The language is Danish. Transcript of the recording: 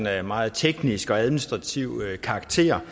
af meget teknisk og administrativ karakter